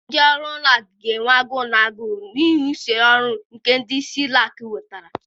Ndị ọrụ ụlọ akụ ga-enwe agụụ na agụụ, n'ihi usoro ọhụrụ nke isi ụlọ akụ wetara.